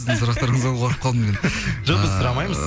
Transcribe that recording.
сіздің сұрақтарыңыздан қорқып қалдым мен жоқ біз сұрамаймыз